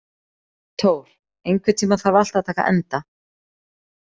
Thór, einhvern tímann þarf allt að taka enda.